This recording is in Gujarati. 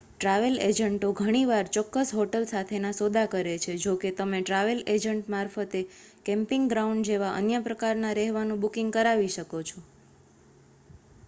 ટ્રાવેલ એજન્ટો ઘણીવાર ચોક્કસ હોટલ સાથેના સોદા કરે છે જોકે તમે ટ્રાવેલ એજન્ટ મારફતે કેમ્પિંગ ગ્રાઉન્ડ જેવા અન્ય પ્રકારના રહેવાનું બુકિંગ કરાવી શકો છો